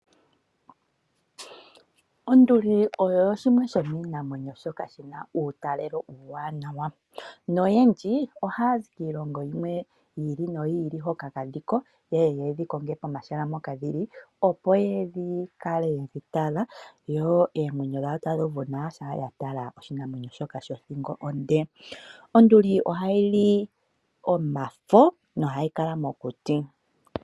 Onduli oyo shimwe shomiinamwenyo shoka shi na uutalelo uuwanawa noyendji ohaya zi kiilongo yimwe yi ili noyi ili hoka kadhi ko ye ye ye dhi konge pomahala mpoka hadhi kala, opo ya kale ye dhi tala. Yo oomwenyo dhawo tadhi uvu nawa shampa ya tala oshinamwenyo shoka shothingo onde. Onduli ohayi li omafo nohayi kala mokuti.